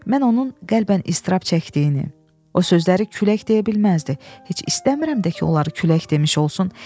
Mən onun qəlbən iztirab çəkdiyini, o sözləri külək deyə bilməzdi, heç istəmirəm də ki, onları külək demiş olsun.